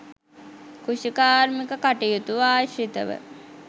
කෘෂිකාර්මික කටයුතු ආශ්‍රිතව